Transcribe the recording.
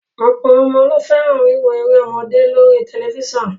Ọ̀pọ̀ ọmọ ló fẹ́ràn wíwo eré ọmọdé lóri tẹlifíṣàn